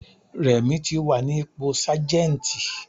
Rẹ̀mí ti wà ní ipò Sájẹ́ntì.